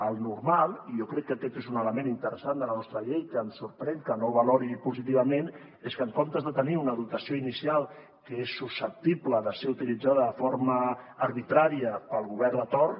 el normal i jo crec que aquest és un element interessant de la nostra llei que em sorprèn que no valori positivament és que en comptes de tenir una dotació inicial que és susceptible de ser utilitzada de forma arbitrària pel govern de torn